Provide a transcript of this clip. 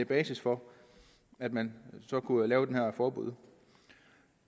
basis for at man så kunne lave det her forbud